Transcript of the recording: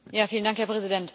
Herr Präsident!